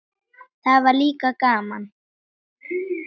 Það var líka gaman.